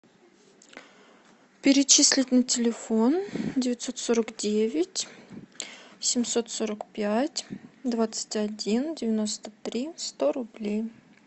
перечислить на телефон девятьсот сорок девять семьсот сорок пять двадцать один девяносто три сто рублей